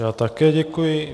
Já také děkuji.